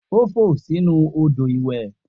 O fo sinu odo iwe.